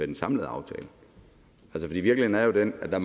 den samlede aftale for virkeligheden er jo den at der